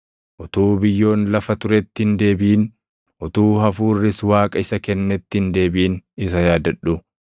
utuu biyyoon lafa turetti hin deebiʼin, utuu hafuurris Waaqa isa kennetti hin deebiʼin isa yaadadhu.